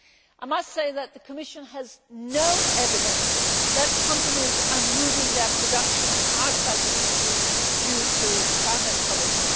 I must say that the Commission has no evidence that companies are moving their production outside the EU due to climate policy.